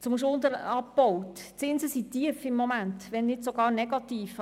Zum Schuldenabbau: Die Zinsen sind im Moment tief, wenn nicht sogar negativ.